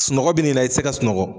Sunɔgɔ bɛ n'ii na i tɛ se ka sunɔgɔ.